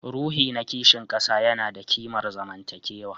Ruhi na kishin kasa yana da kimar zamantakewa